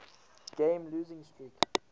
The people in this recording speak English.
game losing streak